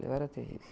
Eu era terrível.